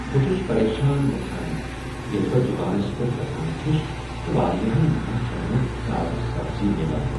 بہٕ چھس پریشان گژھان ییٚلہ بہٕ دکانس پیٹھ گژھان چھس تہٕ واریاہن دۄہن چھنہٕ مےٚ تازہ سبزی میلان۔